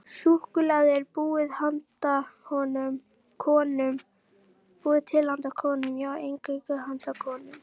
Súkkulaði er búið til handa konum, já, eingöngu handa konum.